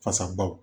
Fasabaw